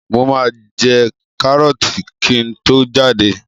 Mo máa jẹ kárọ́ọ̀tì kí n tó jáde.